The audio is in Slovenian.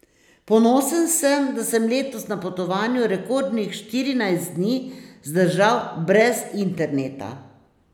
Ponosen sem, da sem letos na potovanju rekordnih štirinajst dni zdržal brez interneta.